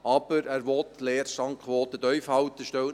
Er will aber die Leerstandquote tief halten.